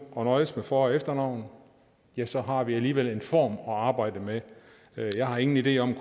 og nøjes med for og efternavn ja så har vi alligevel en form at arbejde med jeg har ingen idé om